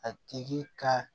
A tigi ka